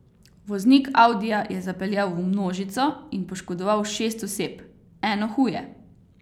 Voznik audija je zapeljal v množico in poškodoval šest oseb, eno huje.